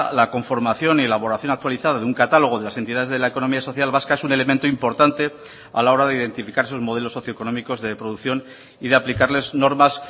la conformación y elaboración actualizada de un catálogo de las entidades de la economía social vasca es un elemento importante a la hora de identificar sus modelos socio económicos de producción y de aplicarles normas